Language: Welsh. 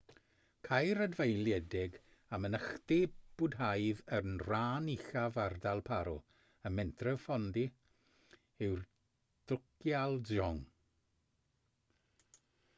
caer adfeiliedig a mynachdy bwdhaidd yn rhan uchaf ardal paro ym mhentref phondey yw'r drukgyal dzong